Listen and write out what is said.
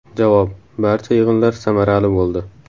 Javob: Barcha yig‘inlar samarali bo‘ldi.